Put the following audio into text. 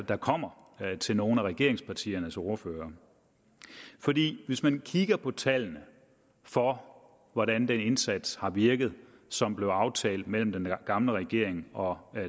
der kommer til nogle af regeringspartiernes ordførere hvis man kigger på tallene for hvordan den indsats har virket som blev aftalt mellem den gamle regering og